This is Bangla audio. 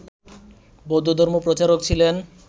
বৌদ্ধধর্ম প্রচারক ছিলেন